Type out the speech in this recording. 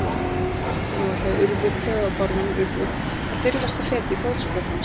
Og nú ætlaði Urður, klaufabárðurinn Urður, að dirfast að feta í fótspor hans.